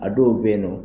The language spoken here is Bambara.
A dɔw bɛ yen nɔ